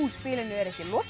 spilinu er ekki lokið